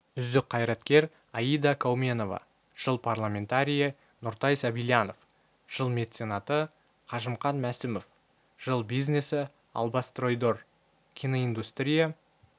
үздік қайраткер аида кауменова жыл парламентарийі нұртай сабильянов жыл меценаты қажымқан мәсімов жыл бизнесі албастройдор киноиндустрия